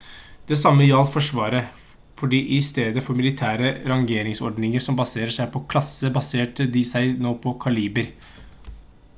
det samme gjaldt forsvaret fordi i stedet for militære rangordninger som baserer seg på klasse baserte de seg nå på kaliber